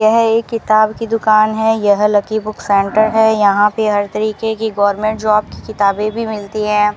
यह एक किताब की दुकान है यह लकी बुक सेंटर है यहां पे हर तरीके की गवर्नमेंट जॉब की किताबें भी मिलती है।